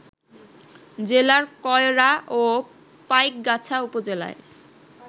জেলার কয়রা ও পাইকগাছা উপজেলায়